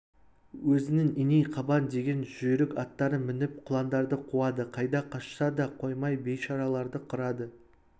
өзінің иней қабан деген жүйрік аттарын мініп құландарды қуады қайда қашса да қоймай бейшараларды қырады